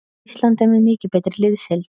Ísland er með mikið betri liðsheild